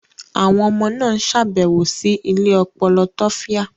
Àwọn ọmọ náà ń ṣàbẹ̀wò sí ilé ọpọlọ tofya.